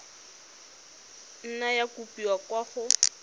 nna ya kopiwa kwa go